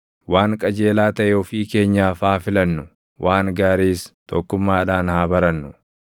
Waan qajeelaa taʼe ofii keenyaaf haa filannu; waan gaariis tokkummaadhaan haa barannu.